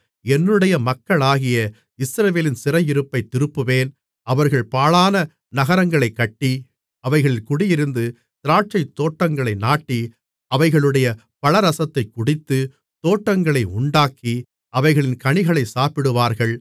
என்னுடைய மக்களாகிய இஸ்ரவேலின் சிறையிருப்பைத் திருப்புவேன் அவர்கள் பாழான நகரங்களைக் கட்டி அவைகளில் குடியிருந்து திராட்சைத்தோட்டங்களை நாட்டி அவைகளுடைய பழரசத்தைக் குடித்து தோட்டங்களை உண்டாக்கி அவைகளின் கனிகளை சாப்பிடுவார்கள்